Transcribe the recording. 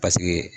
Paseke